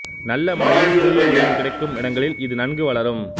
நல்ல மழையும் சூரியஒளியும் கிடைக்கும் இடங்களில் இது நன்கு வளரும்